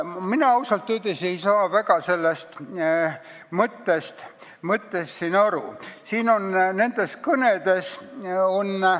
Mina ausalt öeldes ei saanud väga nende kõnede mõttest siin aru.